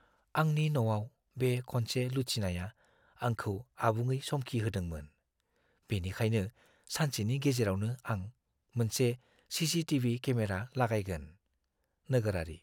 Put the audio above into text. आंनि न'आव बे खनसे लुथिनाया आंखौ आबुङै समखिहोदोंमोन, बेनिखायनो सानसेनि गेजेरावनो आं मोनसे सीसीटीवी केमेरा लागायगोन। (नोगोरारि)